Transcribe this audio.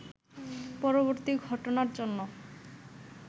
পরবর্তী ঘটনার জন্য